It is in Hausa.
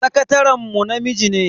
Sakataren mu namiji ne.